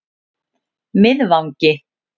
Miðvangi